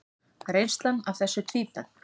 Reynslan af þessu tvíbent.